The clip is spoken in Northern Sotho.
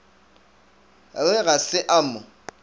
re ga se a mo